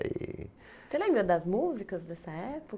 E. Você lembra das músicas dessa